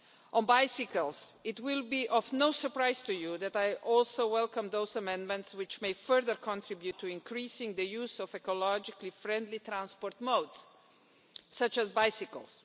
On bicycles, it will be of no surprise to you that I also welcome those amendments which may further contribute to increasing the use of ecologically friendly transport modes such as bicycles.